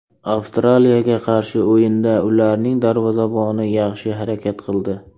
Avstraliyaga qarshi o‘yinda ularning darvozaboni yaxshi harakat qildi.